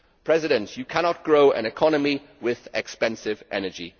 Presidents, you cannot grow an economy with expensive energy.